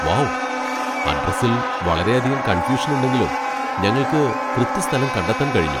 Wow! അഡ്രസ്സിൽ വളരെയധികം confusion ഉണ്ടെങ്കിലും ഞങ്ങൾക്ക് കൃത്യ സ്ഥലം കണ്ടെത്താൻ കഴിഞ്ഞു.